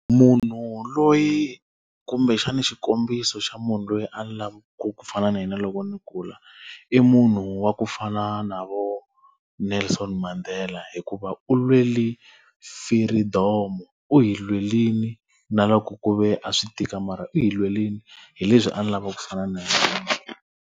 Munhu loyi kumbexana xikombiso xa munhu loyi a ni lava ku fana na yena loko ndzi kula, i munhu wa ku fana na vo Nelson Mandela hikuva u lwele firidomo. U hi lwerile na loko ku ve a swi tika mara u hi lwerile. Hi leswi a ni lavaka ku fana na yena .